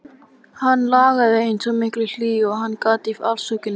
Hann lagði eins mikla hlýju og hann gat í afsökunina.